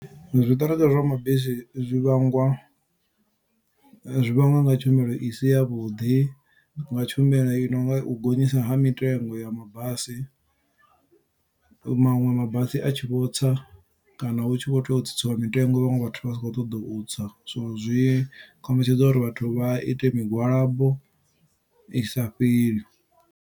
Zwiṱereke zwa mabisi zwi vhangwa, zwi vhangwa nga tshumelo isi ya vhuḓi, nga tshumelo i nonga u gonyiswa ha mitengo ya mabasi. Maṅwe mabasi a tshi vho tsa, kana hu tshi vho tea u tsitsiwa mitengo vhaṅwe vhathu vha sa khou ṱoḓa u tsa, so zwi kombetshedza uri vhathu vha ite migwalabo i sa fheli.